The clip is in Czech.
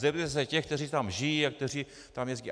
Zeptejte se těch, kteří tam žijí a kteří tam jezdí.